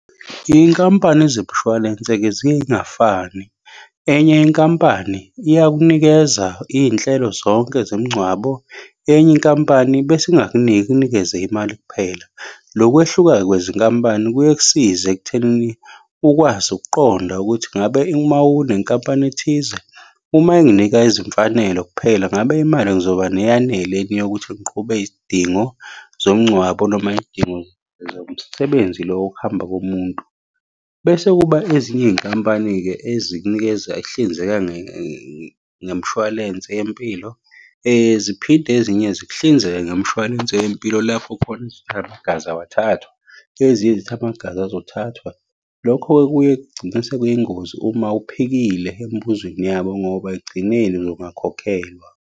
Iy'nkampani zebushwalense-ke ziye iy'ngafani. Enye inkampani iyakunikeza iy'nhlelo zonke zemngcwabo, enye inkampani bese ingakuniki, ikunikeze imali kuphela. Lokwehluka-ke kwezinkampani kuye kusize ekuthenini ukwazi ukuqonda ukuthi ngabe uma unenkampani ethize, uma enginika izimfanelo kuphela ngabe imali ngizoba neyaneleni yokuthi ngiqhube izidingo zomngcwabo noma izidingo zomsebenzi lo wokuhamba komuntu. Bese kuba ezinye iy'nkampani-ke ezikunikeza ehlinzeka ngemshwalense yempilo. Ziphinde ezinye zikuhlinzeke ngomshwalense wempilo lapho khona amagazi awathathwa, ezinye zithi amagazi azothathwa. Lokho-ke kuye kugcine sekuyingozi uma uphikile emibuzweni yabo ngoba ekugcineni uzongakhokhelwa.